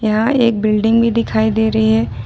यहां एक बिल्डिंग भी दिखाई दे रही है।